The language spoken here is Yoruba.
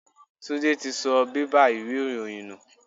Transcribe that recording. Túndé tí sọ bẹ́bà ìwé ìròyìn nù.